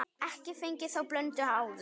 Ekki fengið þá blöndu áður.